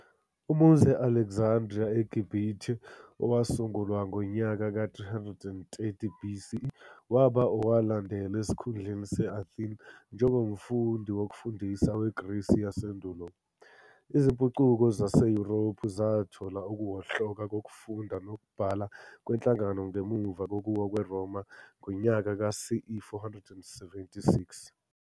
Umuzi wase-Alexandria eGibhithe, owasungulwa ngonyaka ka-330 BCE, waba owalandela esikhundleni se-Athene njengomfundi wokufundisa weGrisi yasendulo. Izimpucuko zaseYurophu zathola ukuwohloka kokufunda nokubhala kwenhlangano ngemuva kokuwa kweRoma ngo-CE 476.